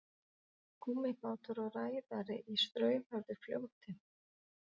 gúmmíbátur og ræðari í straumhörðu fljóti